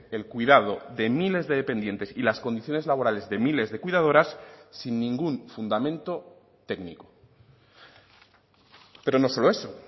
el cuidado de miles de dependientes y las condiciones laborales de miles de cuidadoras sin ningún fundamento técnico pero no solo eso